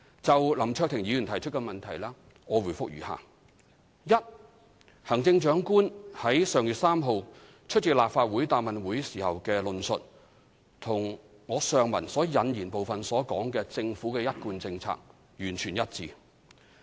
就林卓廷議員提出的質詢，我答覆如下：一行政長官在上月3日出席立法會答問會時的論述與上文引言部分所述的政府一貫政策完全一致。